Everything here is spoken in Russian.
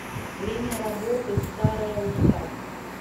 время работы старая усадьба